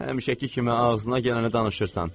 Həmişəki kimi ağzına gələni danışırsan.